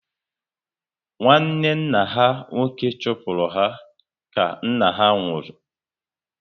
Nwanne nna ha nwoke chụpụrụ ha ka nna ha nwụrụ